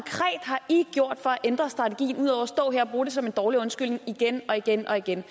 i gjort for at ændre strategien ud over at stå her og bruge det som en dårlig undskyldning igen og igen og igen